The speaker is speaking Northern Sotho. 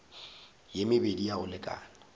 ye mebedi ya go lekana